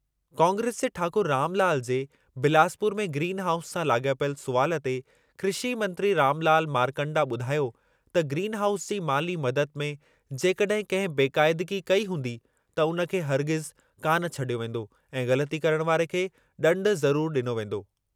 कांग्रेस जे ठाकुर रामलाल जे बिलासपुर में ग्रीन हाउस सां लाॻापियल सुवालु ते कृषी मंत्री रामलाल मारकण्डा ॿुधायो त ग्रीन हाउस जी माली मददु में जेकॾहिं कंहिं बेक़ाइदगी कई हूंदी त उन खे हरगिज़ कान छॾियो वेंदो ऐं ग़लति करण वारे खे ॾंडु ज़रुर ॾिनो वेंदो।